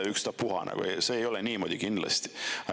See kindlasti ei ole niimoodi.